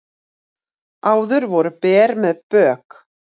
Áður voru ber með bök